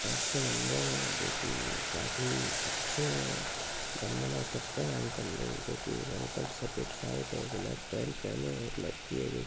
अच्छा मंदिर है जो की काफी अच्छे बंदना करते है अंकल लोग जो कि एक अंकल सफेद शर्ट और ब्लॅक पँट पेहने एक लडकी है जो--